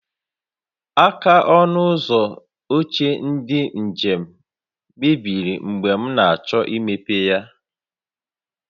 Aka ọnụ ụzọ oche ndị njem mebiri mgbe m na-achọ imeghe ya